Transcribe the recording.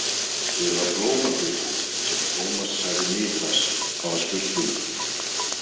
Eða Blómagötu sem Tómas sagði Niklas hafa spurt um.